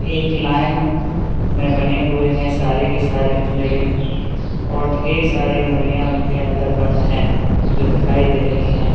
एक लाईन में बने हुए हैं सारे के सारे पिंजड़े और ढेर सारी मुर्गियां उनके अंदर बंद हैं जो दिखाई दे रही है।